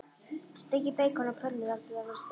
Steikið beikonið á pönnu þar til það verður stökkt.